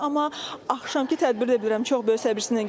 Amma axşamkı tədbiri də bilirəm çox böyük səbirsizlərlə gözləyirlər.